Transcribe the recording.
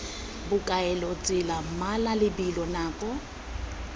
bokaelo tsela mmala lebelo nako